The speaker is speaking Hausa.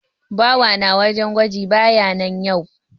Bawa na wajen gwaji baya nan yau.